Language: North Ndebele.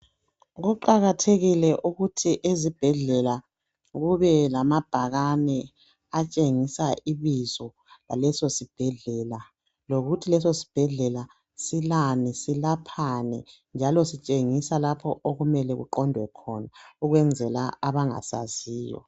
Kuqakathekile ukuthi ezibhedlela kube lamabhakane atshengisa ibizo laleso sibhedlela lokuthi leso sibhedlela silani, silaphani njalo sitshengisa lapho okumele uqondwe khona ukwenzela abangasaziyo.